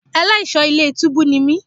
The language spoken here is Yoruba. Ẹlẹ́ṣọ̀ọ́ ilé túbú ni mí.